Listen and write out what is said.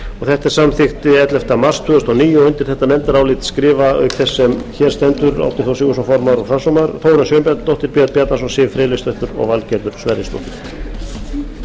þetta er samþykkt ellefta mars tvö þúsund og níu og undir álitið skrifa auk þess sem hér stendur árni þór sigurðsson formaður og framsögumaður þórunn sveinbjarnardóttir björn bjarnason siv friðleifsdóttir og valgerður sverrisdóttir